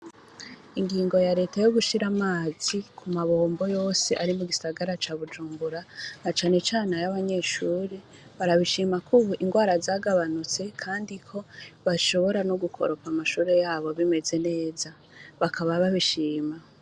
Ingingo ya leta yo gushira amazi ku mabombo yose ari mu gisagara ca Bujumbura na cane cane ay'abanyeshure ,barabishima k'ubu ingwara zagabanutse kandi ko bashobora no gukoropa amashure yabo bimeze neza ,bakaba babishima.